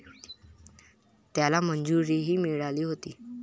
त्याला मंजुरीही मिळाली होती.